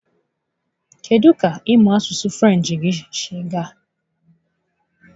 Kedụ ka ịmụ asụsụ French gị siri gaa?